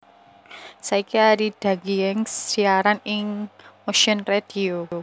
Saiki Arie Dagienkz siaran ing Motion Radio